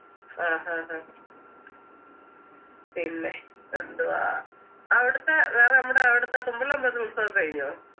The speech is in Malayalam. ആഹ് ആഹ് അഹ് പിന്നെ എന്തുവാ അവിടുത്തെ വേറെ നമ്മുടെ അവിടുത്തെ തുമ്പില്ലേ അമ്പലത്തിലെ ഉത്സവൊക്കെ കഴിഞ്ഞോ